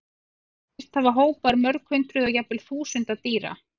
Sést hafa hópar mörg hundruð og jafnvel þúsunda dýra.